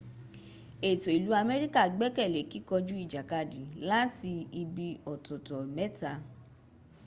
ètò ìlú amerika gbẹ́kẹ̀ lé kíkọjú ìjàkadì láti ibi ọ̀tọ̀tọ̀ mẹ́ta